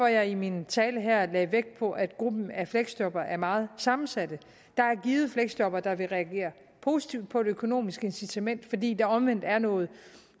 jeg i min tale her lagde vægt på at gruppen af fleksjobbere er meget sammensat der er givet fleksjobbere der vil reagere positivt på et økonomisk incitament fordi der omvendt er noget